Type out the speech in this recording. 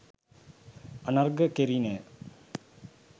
අර්ඝණය කෙරිණ